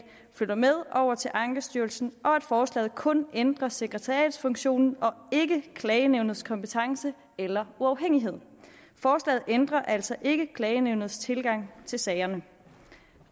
flytter med over til ankestyrelsen og at forslaget kun ændrer sekretariatsfunktionen og ikke klagenævnets kompetence eller uafhængighed forslaget ændrer altså ikke klagenævnets tilgang til sagerne det